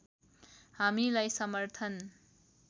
हामीलाई समर्थन